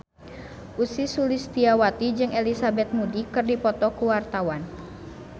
Ussy Sulistyawati jeung Elizabeth Moody keur dipoto ku wartawan